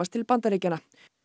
til Bandaríkjanna